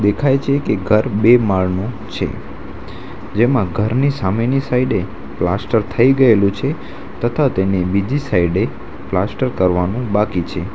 દેખાય છે કે ઘર બે માળનું છે જેમાં ઘરની સામેની સાઈડે પ્લાસ્ટર થઈ ગયેલું છે તથા તેને બીજી સાઈડે પ્લાસ્ટર કરવાનું બાકી છે.